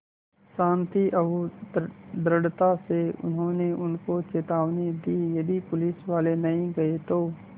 शान्ति और दृढ़ता से उन्होंने उनको चेतावनी दी यदि पुलिसवाले नहीं गए तो